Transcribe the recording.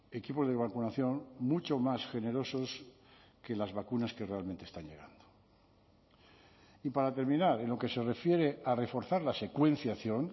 equipos de vacunación mucho más generosos que las vacunas que realmente están llegando y para terminar en lo que se refiere a reforzar la secuenciación